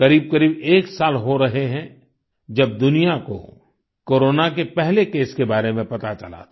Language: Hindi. करीबकरीब एक साल हो रहे हैं जब दुनिया को कोरोना के पहले केस के बारे में पता चला था